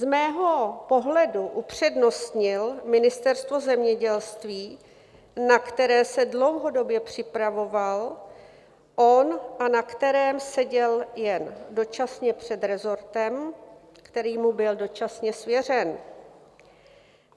Z mého pohledu upřednostnil Ministerstvo zemědělství, na které se dlouhodobě připravoval a na kterém seděl jen dočasně před resortem, který mu byl dočasně svěřen.